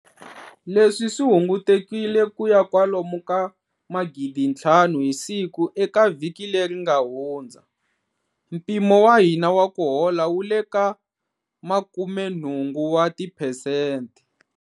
Leswi swi hungutekile ku ya kwalomu ka 5,000 hi siku eka vhiki leri nga hundza. Mpimo wa hina wa ku hola wu le ka 80 wa tiphesente.